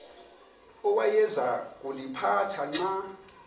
awayeza kuliphatha xa